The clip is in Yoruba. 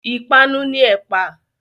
Ìpanu ni ẹ̀pà.